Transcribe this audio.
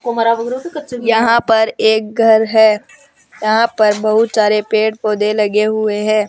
यहां पर एक घर है यहां पर बहुत सारे पेड़ पौधे लगे हुए हैं।